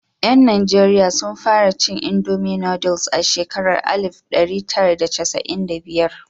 Yan Nijeriya sun fara cin Indomi nooduls a shekarar alif ɗari tara da casa'in da biyar.